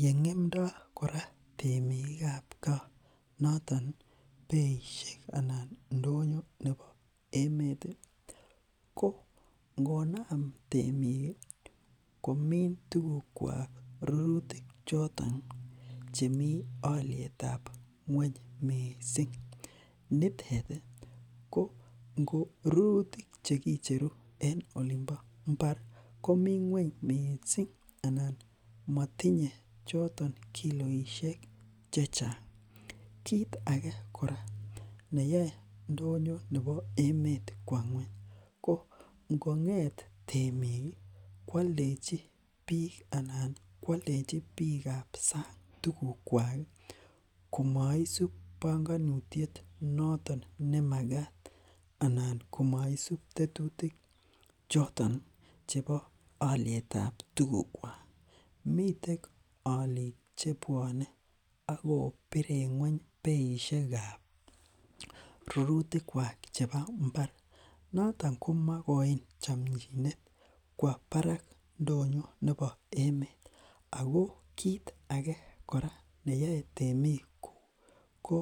Ye ng'emndo kora temik noton beishek en ndonyo nebo Emmet ko ngonaam temik ih komi. Tugukiak noton rurutik chemi alyetab ngueny missing ih , nitet ngo rurutik cheicheru en olimbo Imbar ko ko mi ngueny missing anan matinye kiloisiek chechang. Kit age kora emeet kwo ngueny ko ingo'et temik koaldechin bik anan koaldechin bikab sang tuguk kwak si noton nemagaat anan komaisub tetutik Chechang. Chebo alietab tugukwak akobiren ngueny beishek kab rurutik kwak. Noton komakoi chamchinet kwo barak emet Ako kit age neyae temik ko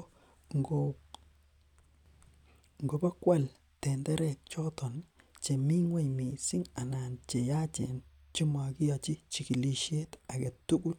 ingobokial tenderek chemi ngueny chayachen